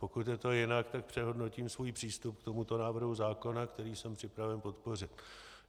Pokud je to jinak, tak přehodnotím svůj přístup k tomuto návrhu zákona, který jsem připraven podpořit.